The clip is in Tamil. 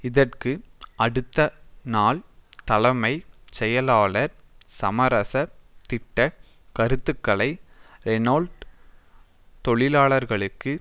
இதற்கு அடுத்த நாள் தலைமை செயலாளர் சமரசத் திட்ட கருத்துக்களை ரெனோல்ட் தொழிலாளர்களுக்கு